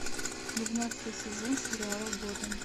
двенадцатый сезон сериала готэм